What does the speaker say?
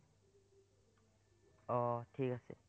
আহ ঠিক আছে